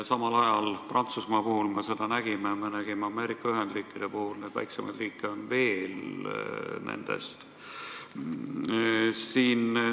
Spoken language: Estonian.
Samal ajal Prantsusmaa puhul me seda nägime, nägime ka Ameerika Ühendriikide puhul ja on ka teisi, väiksemaid riike.